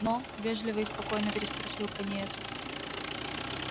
но вежливо и спокойно переспросил пониетс